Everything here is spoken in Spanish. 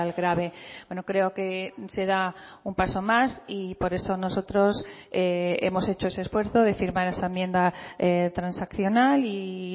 grave bueno creo que se da un paso más y por eso nosotros hemos hecho ese esfuerzo de firmar esa enmienda transaccional y